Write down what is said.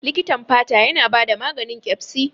Likitan fata yana bada maganin Ƙyaspi.